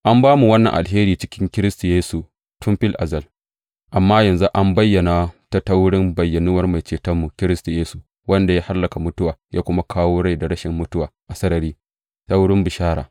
An ba mu wannan alheri cikin Kiristi Yesu tun fil azal, amma yanzu an bayyana ta ta wurin bayyanuwar Mai Cetonmu, Kiristi Yesu, wanda ya hallaka mutuwa ya kuma kawo rai da rashin mutuwa a sarari ta wurin bishara.